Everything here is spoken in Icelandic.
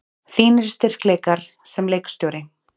Þínir styrkleikar sem leikstjóri?